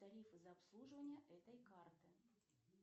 тарифы за обслуживание этой карты